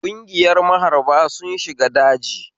Ƙungiyar maharba sun shiga daji